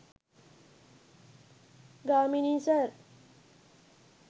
Gamini sir